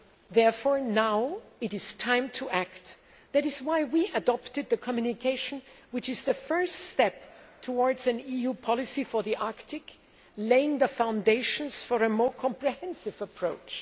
Therefore, now is the time to act. That is why we adopted the communication, which is the first step towards an EU policy for the Arctic, laying the foundations for a more comprehensive approach.